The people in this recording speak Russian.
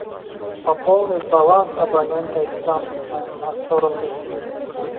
пополнить баланс абонента ислам на сто рублей